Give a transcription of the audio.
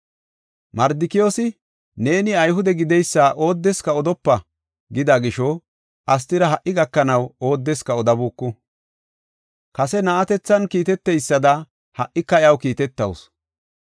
Mardikiyoosi, “Neeni Ayhude gideysa oodeska odopa” gida gisho, Astira ha77i gakanaw oodeska odabuuku. Kase na7atethan kiiteteysada, ha77ika iyaw kiitetawusu.